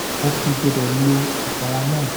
mo fi gbọ́dọ̀ lo ìpara náà